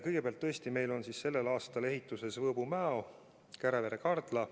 Kõigepealt, tõesti meil on sellel aastal ehituses Võõbu–Mäo ja Kärevere–Kardla lõik.